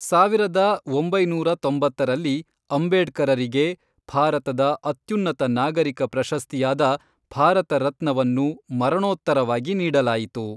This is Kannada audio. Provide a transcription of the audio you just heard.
ಸಾವಿರದ ಒಂಬೈನೂರ ತೊಂಬತ್ತರಲ್ಲಿ ಅಂಬೇಡ್ಕರರಿಗೆ ಭಾರತದ ಅತ್ಯುನ್ನತ ನಾಗರಿಕ ಪ್ರಶಸ್ತಿಯಾದ ಭಾರತ ರತ್ನವನ್ನು ಮರಣೋತ್ತರವಾಗಿ ನೀಡಲಾಯಿತು.